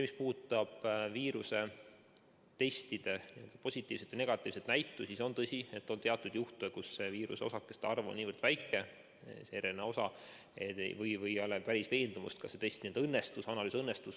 Mis puudutab viirusetestide positiivset või negatiivset näitu, siis on tõsi, et on teatud juhte, kui viirusosakeste arv on niivõrd väike, see RNA osa, või ei ole veendumust, kas see analüüs õnnestus.